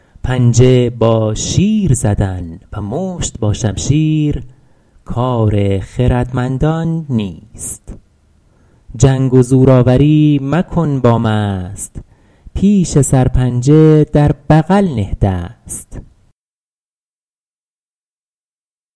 پنجه با شیر زدن و مشت با شمشیر کار خردمندان نیست جنگ و زورآوری مکن با مست پیش سرپنجه در بغل نه دست